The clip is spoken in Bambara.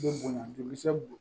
Bɛ bonya joli